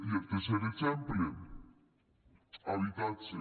i el tercer exemple habitatge